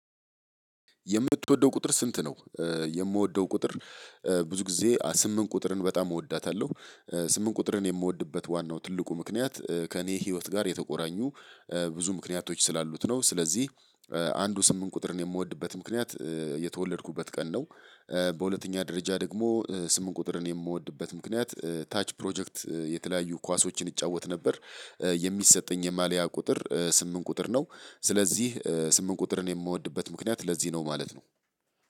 የምትወደው ቁጥር ስንት ነው? የምወደው ቁጥር ብዙ ጊዜ ስምንት ቁጥርን በጣም እወዳታለሁ። ስምንት ቁጥርን የምወድበት ዋናው ትልቁ ምክንያት ከእኔ ህይወት ጋር የተቆራኙ ብዙ ምክንያቶች ስላሉት ነው። ስለዚህ አንዱ ስምንት ቁጥር ነው የምወድበት ምክንያት የተወለድኩበት ቀን ነው። በሁለተኛ ደረጃ ደግሞ ስምንት ቁጥርን የምወድበት ምክንያት ታች ፕሮጀክት የተለያዩ ኳሶችን እጫወት ነበር የሚሰጠኝ የማልያ ቁጥር ስምንት ቁጥር ነው። ስለዚህ ስምንት ቁጥርን የምወድበት ምክንያት ለዚህ ነው ማለት ነው።